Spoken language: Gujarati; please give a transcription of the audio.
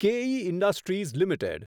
કેઇ ઇન્ડસ્ટ્રીઝ લિમિટેડ